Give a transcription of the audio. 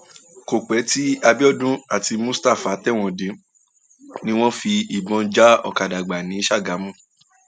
kò pẹ tí abiodun àti mustapha tẹwọn dé ni wọn tún fìbọn já ọkadà gbà ní sàgámù